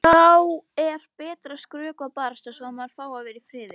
Þá er betra að skrökva barasta svo að maður fái að vera í friði.